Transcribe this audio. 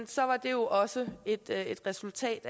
så er det jo også et resultat